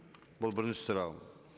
бұл бірінші сұрағым